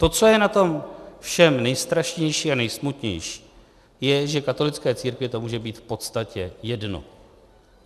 To, co je na tom všem nejstrašnější a nejsmutnější, je, že katolické církvi to může být v podstatě jedno.